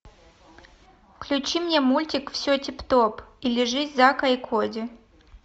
включи мне мультик все тип топ или жизнь зака и коди